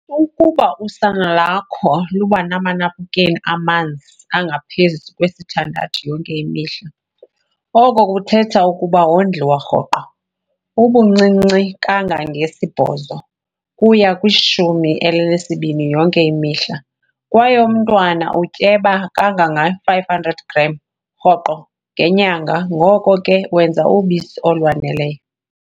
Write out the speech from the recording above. Ukuba usana lakho luba namanaphukeni amanzi angaphezu kwesithandathu yonke imihla, oko kuthetha ukuba wondliwa rhoqo, ubuncinci kangangesi-8 kuya ku-12 yonke imihla, kwaye umntwana utyeba kangangama-500g rhoqo ngenyanga, ngoko ke wenza ubisi olwaneleyo.